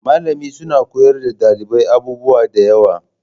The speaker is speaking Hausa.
Malamin suna koyar da ɗalibai abubuwa da yawa